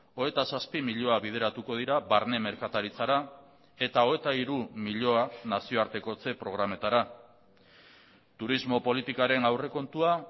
hogeita zazpi milioi bideratuko dira barne merkataritzara eta hogeita hiru milioi nazioartekotze programetara turismo politikaren aurrekontua